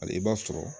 Hali i b'a sɔrɔ